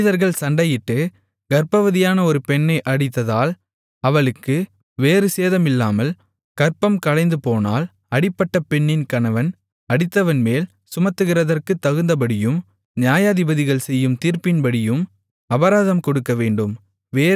மனிதர்கள் சண்டையிட்டு கர்ப்பவதியான ஒரு பெண்ணை அடித்ததால் அவளுக்கு வேறு சேதமில்லாமல் கர்ப்பம் கலைந்துபோனால் அடிபட்ட பெண்ணின் கணவன் அடித்தவன்மேல் சுமத்துகிறதற்குத்தகுந்தபடியும் நியாயாதிபதிகள் செய்யும் தீர்ப்பின்படியும் அபராதம் கொடுக்கவேண்டும்